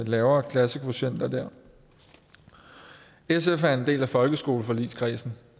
lavere klassekvotienter der sf er en del af folkeskoleforligskredsen